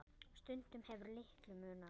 Stundum hefur litlu munað.